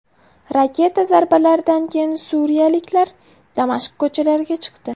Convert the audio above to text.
Raketa zarbalaridan keyin suriyaliklar Damashq ko‘chalariga chiqdi .